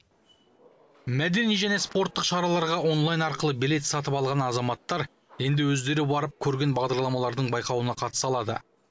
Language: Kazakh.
мәдени және спорттық шараларға онлайн арқылы билет сатып алған азаматтар енді өздері барып көрген бағдарламалардың байқауына қатыса алады